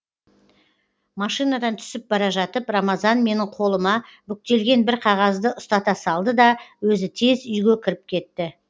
машинадан түсіп бара жатып рамазан менің қолыма бүктелген бір қағазды ұстата салды да өзі тез үйге кіріп кетті